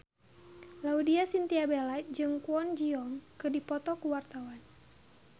Laudya Chintya Bella jeung Kwon Ji Yong keur dipoto ku wartawan